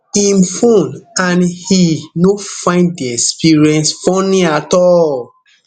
im fone and e no find di experience funny at all